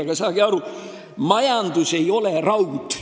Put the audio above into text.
Aga saage aru, majandus ei ole raud.